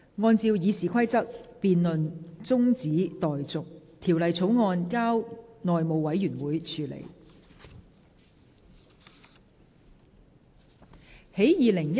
按照《議事規則》，辯論中止待續，條例草案交由內務委員會處理。